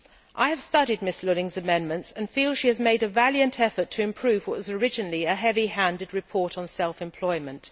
I have studied Ms Lulling's amendments and feel that she has made a valiant effort to improve what was originally a heavy handed report on self employment.